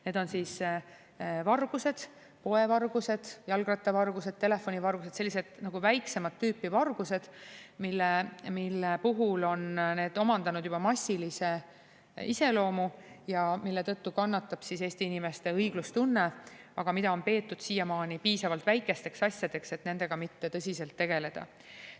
Need on vargused: poevargused, jalgrattavargused, telefonivargused, sellised nagu väiksemat tüüpi vargused, mis on omandanud juba massilise iseloomu ja mille tõttu kannatab Eesti inimeste õiglustunne, aga mida on peetud siiamaani piisavalt väikesteks asjadeks, et nendega mitte tõsiselt tegeleda.